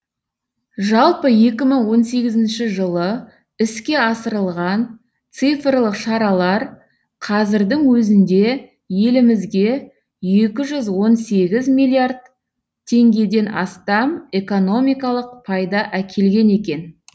жалпы екі мың он сегізінші жылы іске асырылған цифрлық шаралар қазірдің өзінде елімізге екі жүз он сегіз миллиард теңгеден астам экономикалық пайда әкелген екен